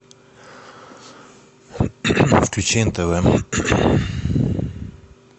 включи нтв